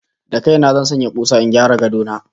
Da kai na zan sanya kusa in gyara gadon katako na